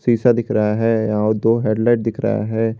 शीशा दिख रहा है और दो हेडलाइट दिख रहा है।